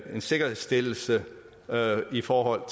en sikkerhedsstillelse i forhold